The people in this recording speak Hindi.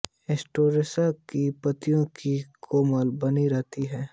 सेटोसा की पत्तियों की कोमलता बनी रहती है